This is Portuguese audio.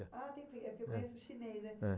Ah, é porque eu conheço o chinês, né? Eh